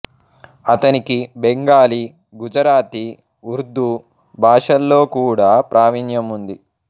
అతనికి బెంగాలీ గుజరాతీ ఉర్దూ భాషల్లో కూడా ప్రావీణ్యం ఉంది